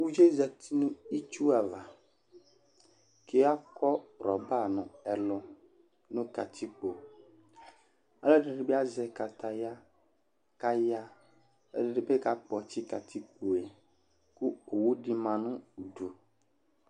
uvie zati nu itsu ava, ku akɔ rɔba nu ɛlu nu katikpo , alu ɛdini bi azɛ kataya ku ayaɣa, ɛdini bi kakpɔtsi katikpoe ku owu di ma nu udu